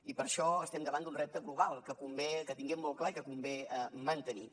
i per això estem davant d’un repte global que convé que tinguem molt clar i que convé mantenir